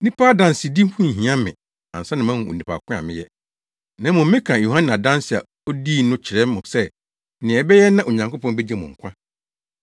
Nnipa adansedi ho nhia me ansa na moahu onipa ko a meyɛ. Na mmom meka Yohane adanse a odii no kyerɛ mo sɛ nea ɛbɛyɛ na Onyankopɔn begye mo nkwa.